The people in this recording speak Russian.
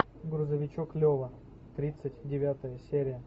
грузовичок лева тридцать девятая серия